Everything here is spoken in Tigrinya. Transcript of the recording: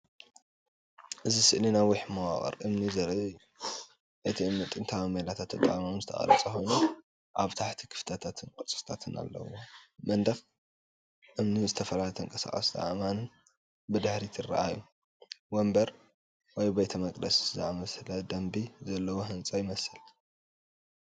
እዚ ስእሊ ነዊሕ መዋቕር እምኒ ዘርኢ እዩ። እቲ እምኒ ጥንታዊ ሜላታት ተጠቒሙ ዝተቐርጸ ኮይኑ፡ ኣብ ታሕቲ ክፍተታትን ቅርጽታትን ኣለዎ። መንደቕ እምኒን ዝተፈላለዩ ተንቀሳቐስቲ ኣእማንን ብድሕሪት ይረኣዩ። መንበር ወይ ቤተ መቕደስ ዝኣመሰለ ደርቢ ዘለዎ ህንጻ ይመስል።